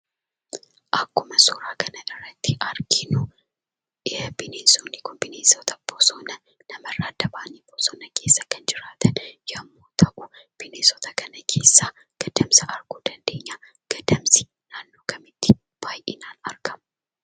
Akkuma suuraa kanarratti arginu; bineensonni kun bineensota bosonaa namarraa adda bahanii bosona keessaa kan jiraatan yommuu ta'u, bineensota kana keessaa gadamsa arguu dandeenya. Gadamsi naannoo kamitti baayyinaan argama?